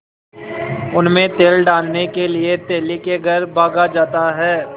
उनमें तेल डालने के लिए तेली के घर भागा जाता है